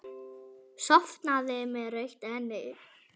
Sofnaði með rautt enni.